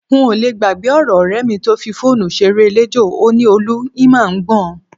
N ò le gbàgbé ọ̀rọ̀ ọ̀rẹ́ mi tó fi fóònù ṣeré eléjò, ó ní, "Olú, ì mà ń gbọ́n".